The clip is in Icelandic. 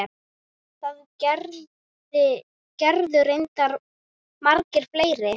Það gerðu reyndar margir fleiri.